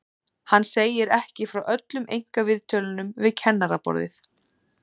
Hann segir ekki frá öllum einkaviðtölunum við kennaraborðið.